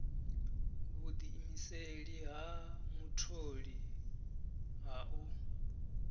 vhudiimiseli ha mutholi ha u